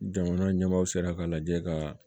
Jamana ɲɛmaaw sera k'a lajɛ kaaa